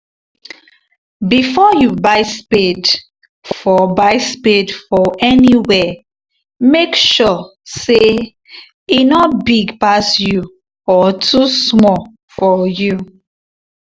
before you buy spade for buy spade for anywhere make sure say e nor big pass you or too small for you